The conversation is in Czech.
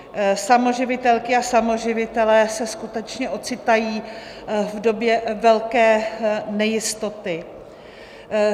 Samoživitelky a samoživitelé se skutečně ocitají v době velké nejistoty.